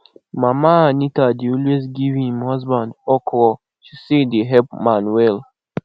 mama anita dey always give im husband okra she say e dey help man well